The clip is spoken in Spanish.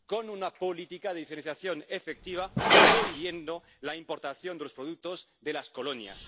con una política de diferenciación efectiva, prohibiendo la importación de los productos de las colonias.